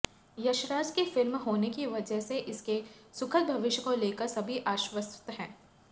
यशराज की फिल्म होने की वजह से इसके सुखद भविष्य को लेकर सभी आश्वस्त हैं